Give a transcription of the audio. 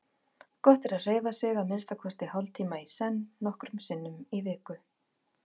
Gott er að hreyfa sig að minnsta kosti hálftíma í senn nokkrum sinnum í viku.